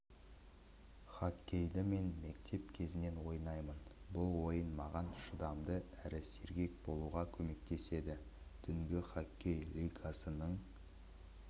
хоккейді мен мектеп кезінен ойнаймын бұл ойын маған шыдамды әрі сергек болуға көмектеседі түнгі хоккей лигасының